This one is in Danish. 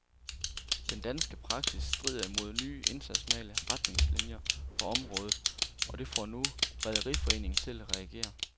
Den danske praksis strider imod nye internationale retningslinier på området, og det får nu rederiforeningen til at reagere.